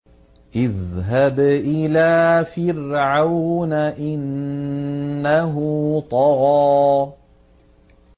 اذْهَبْ إِلَىٰ فِرْعَوْنَ إِنَّهُ طَغَىٰ